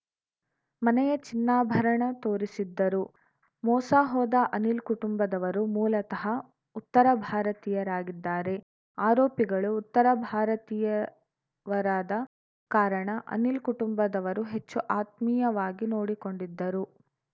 ಮನೆಯ ಚಿನ್ನಾಭರಣ ತೋರಿಸಿದ್ದರು ಮೋಸ ಹೋದ ಅನಿಲ್‌ ಕುಟುಂಬದವರು ಮೂಲತಃ ಉತ್ತರ ಭಾರತೀಯರಾಗಿದ್ದಾರೆ ಆರೋಪಿಗಳು ಉತ್ತರ ಭಾರತೀಯವರಾದ ಕಾರಣ ಅನಿಲ್‌ ಕುಟುಂಬದವರು ಹೆಚ್ಚು ಆತ್ಮೀಯವಾಗಿ ನೋಡಿಕೊಂಡಿದ್ದರು